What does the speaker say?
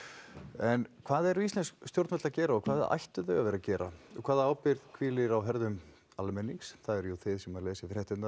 en hvað eru íslensk stjórnvöld að gera og hvað ættu þau að vera að gera og hvaða ábyrgð hvílir á herðum almennings það eru jú þið sem lesið fréttirnar